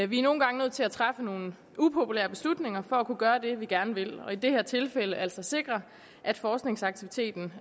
vi er nogle gange nødt til at træffe nogle upopulære beslutninger for at kunne gøre det vi gerne vil og i det her tilfælde altså sikre at forskningsaktiviteten